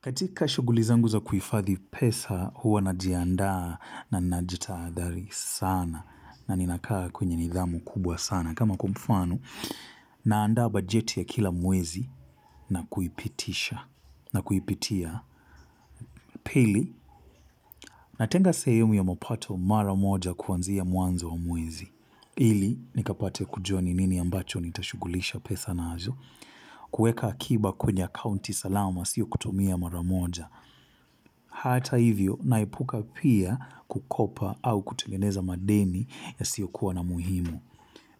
Katika shugulizangu za kuifadhi pesa huwa najiandaa na najitaadhari sana na ninakaa kwenye nidhamu kubwa sana. Kama kwamfano naandaa bajeti ya kila mwezi na kuipitisha na kuipitia pili. Natenga sehemu ya mapato mara moja kuanzia mwanzo wa mwezi. Ili nikapate kujua ninini ambacho nitashugulisha pesa na hazo. Kueka akiba kwenye accounti salama sio kutomia mara moja. Hata hivyo naepuka pia kukopa au kutengeneza madeni ya sio kuwa na muhimu.